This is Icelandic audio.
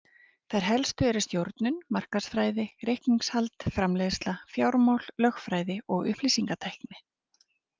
Þær helstu eru stjórnun, markaðsfræði, reikningshald, framleiðsla, fjármál, lögfræði og upplýsingatækni.